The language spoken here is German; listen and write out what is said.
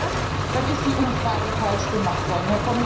Wenn es nicht passt, dann ist die Umfrage falsch gemacht worden.